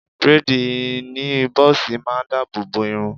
Bréèdì ìní bọ́ọ̀sì ma ń dáàbò bo irun